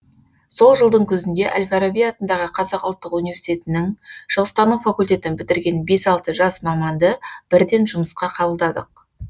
сол жылдың күзінде әл фараби атындағы қазақ ұлттық университетінің шығыстану факультетін бітірген бес алты жас маманды бірден жұмысқа қабылдадық